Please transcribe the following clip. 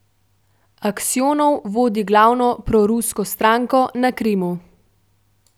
Aksjonov vodi glavno prorusko stranko na Krimu.